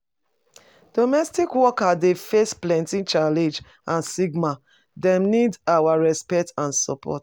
Domestic workers dey face plenty challenge and stigma, dem need our respect and support.